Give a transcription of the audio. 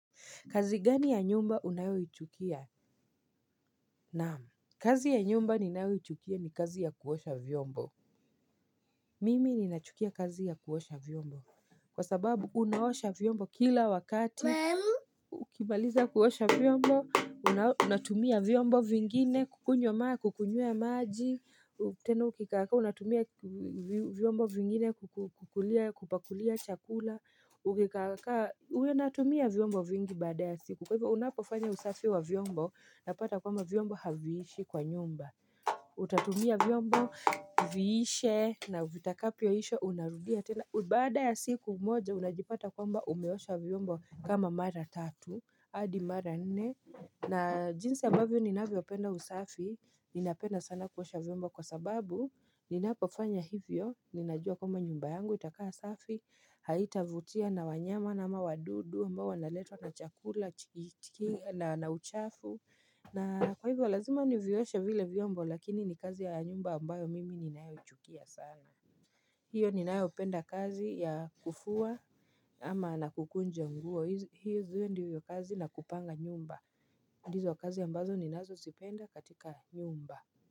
Kazi gani ya nyumba unayoi chukia? Naam. Kazi ya nyumba ninayoi chukia ni kazi ya kuosha vyombo. Mimi ni nachukia kazi ya kuosha vyombo. Kwa sababu unaosha vyombo kila wakati. Mamu. Ukimaliza kuosha vyombo. Unatumia vyombo vingine. Kukunywa maa, kukunyia maaji. Tena ukikakaa. Unatumia vyombo vingine. Kukulia, kupakulia chakula. Ukikakaa. Unatumia vyombo vingi baadaye. Siku kwa hivyo unapofanya usafi wa vyombo una pata kwamba vyombo haviishi kwa nyumba Utatumia vyombo, viishe na vitakapyo isha unarudia tena baada ya siku umoja unajipata kwamba umeosha vyombo kama mara tatu, hadi mara nene na jinsi ambavyo ninavyo penda usafi, ninapenda sana kuosha vyombo kwa sababu Ninapofanya hivyo, ninajua kwamba nyumba yangu, itakaa safi Haitavutia na wanyama na ama wadudu ambao wanaletwa na chakula na uchafu na kwa hivyo lazima nivyoshe vile vyombo lakini ni kazi ya nyumba ambayo mimi ni ninayo ichukia sana hiyo ni ninayo penda kazi ya kufua ama na kukunja nguo hizo ndizo kazi na kupanga nyumba ndizo kazi ambazo ni nazo sipenda katika nyumba.